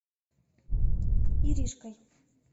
иришкой